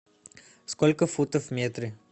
сколько футов в метре